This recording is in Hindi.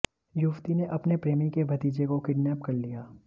युवती ने अपने प्रेमी के भतीजे को किडनेप कर लिया